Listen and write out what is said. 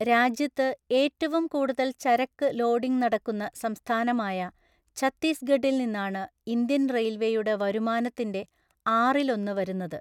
രാജ്യത്ത് ഏറ്റവും കൂടുതൽ ചരക്ക് ലോഡിംഗ് നടക്കുന്ന സംസ്ഥാനമായ ഛത്തീസ്ഗഢിൽ നിന്നാണ് ഇന്ത്യൻ റെയിൽവേയുടെ വരുമാനത്തിന്റെ ആറിലൊന്ന് വരുന്നത്.